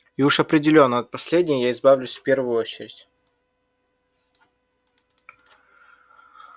и уж определённо от последней я избавлюсь в первую очередь